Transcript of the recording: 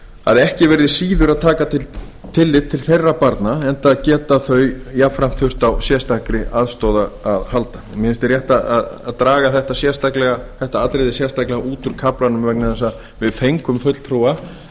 að ekki verði síður að taka tillit til þeirra barna enda geti þau börn jafnframt þurft á sérstakri aðstoð að halda mér finnst rétt að draga þetta atriði sérstaklega út úr kaflanum vegna þess að við fengum